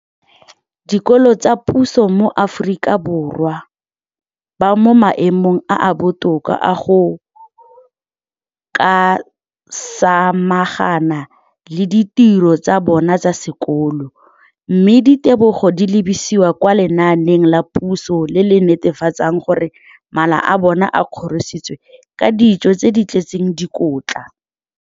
Dikolo tsa puso mo Aforika Borwa ba mo maemong a a botoka a go ka samagana le ditiro tsa bona tsa sekolo, mme ditebogo di lebisiwa kwa lenaaneng la puso le le netefatsang gore mala a bona a kgorisitswe ka dijo tse di tletseng dikotla.